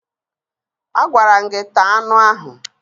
Agwara m gị taa anụ ahụ!